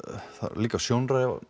líka sjónræn